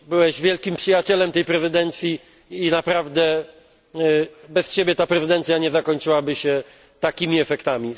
Byłeś wielkim przyjacielem tej prezydencji i naprawdę bez Ciebie ta prezydencja nie zakończyłaby się takimi efektami.